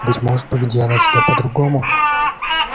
быть может поведи она себя по-другому